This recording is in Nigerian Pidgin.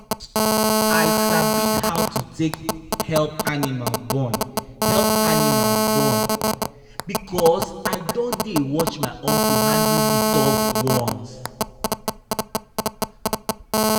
i sabi how to help animal born help animal born because i don dey watch my uncle handle the tough ones